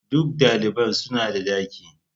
Duk daliban suna da daki.